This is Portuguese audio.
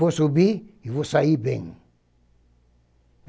Vou subir e vou sair bem.